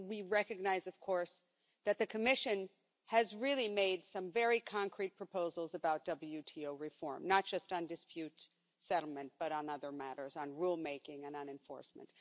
We recognise, of course, that the Commission has really made some very concrete proposals about WTO reform, not just on dispute settlement but on other matters on rule making and enforcement.